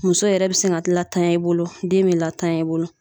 Muso yɛrɛ be se ka latanya i bolo den be latanya i bolo